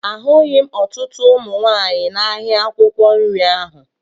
Ahụghị m ọtụtụ ụmụ nwaanyị n'ahịa akwụkwọ nri ahụ